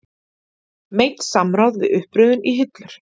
Meint samráð við uppröðun í hillur